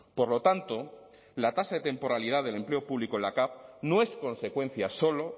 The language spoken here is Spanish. por lo tanto la tasa de temporalidad del empleo público en la cav no es consecuencia solo